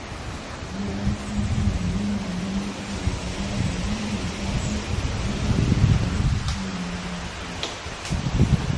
Yawancin iyaye na ganin cewa wajibi ne 'ya'yansu su yi aure a lokacin da ya dace.